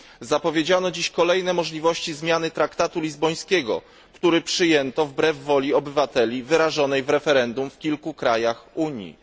Zapowiedziano dzisiaj kolejne możliwości zmiany traktatu lizbońskiego, który przyjęto wbrew woli obywateli wyrażonej w referendum w kilku krajach Unii.